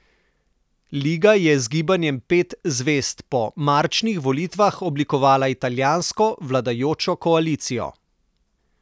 Liga je z Gibanjem Pet zvezd po marčnih volitvah oblikovala italijansko vladajočo koalicijo.